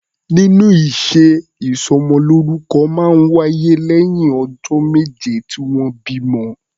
Nínú ìṣe, ìsọmọlórúkọ máa ń wáyé lẹ́yìn ọjọ́ méje tí wọ́n bí ọmọ.